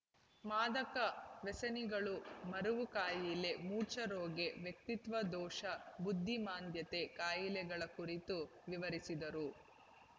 ಮಾದಕ ವ್ಯಸನಿಗಳು ಮರೆವು ಕಾಯಿಲೆ ಮೂರ್ಛೆರೋಗ ವ್ಯಕ್ತಿತ್ವ ದೋಷ ಬುದ್ಧಿಮಾಂದ್ಯತೆಯ ಕಾಯಿಲೆಗಳ ಕುರಿತು ವಿವರಿಸಿದರು